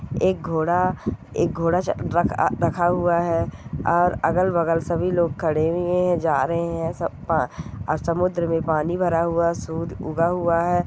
एक घोडा एक घोडा जा-क-अ रखा हुआ है और अगल बगल सभी लोग खड़े वे है जा रहे है सब पा- समुद्र मे पानी भरा हुआ सूद उगा हुआ है।